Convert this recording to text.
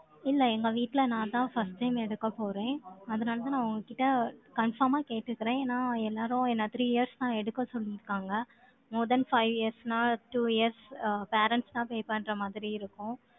இல்லை, எங்க வீட்டுல, நான்தான் first time எடுக்கப் போறேன். அதனாலதான், நான் உங்க கிட்ட, confirm ஆ கேட்டுக்கறேன். ஏன்னா, எல்லாரும், என்னை three years தான், எடுக்கச் சொல்லியிருக்காங்க. More than five years ன்னா, two years அ, parents தான், pay பண்ற மாதிரி இருக்கும்.